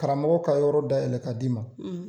Karamɔgɔ ka yɔrɔ dayɛlɛ k'a d'i ma.